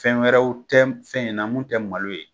Fɛn wɛrɛw tɛ fɛn in na mun tɛ malo ye.